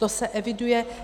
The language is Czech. To se eviduje.